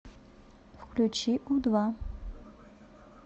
включи у два